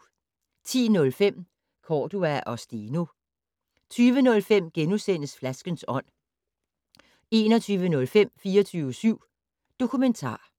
10:05: Cordua og Steno 20:05: Flaskens ånd * 21:05: 24syv Dokumentar